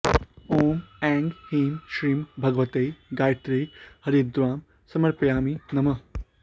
ॐ ऐं ह्रीं श्रीं भगवत्यै गायत्र्यै हरिद्रां समर्पयामि नमः